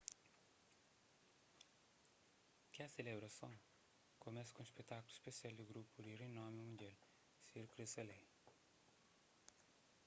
kes selebrason kumesa ku un spetákulu spesial di grupu di rinomi mundial cirque du soleil